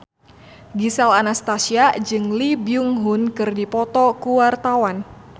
Gisel Anastasia jeung Lee Byung Hun keur dipoto ku wartawan